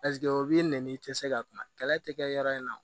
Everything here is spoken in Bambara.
o b'i nɛni i tɛ se ka kuma kɛlɛ tɛ kɛ yɔrɔ in na